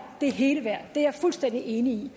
det hele værd det er jeg fuldstændig enig i